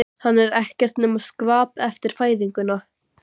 Hann er ekkert nema skvap eftir fæðinguna.